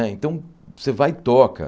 Então, você vai e toca.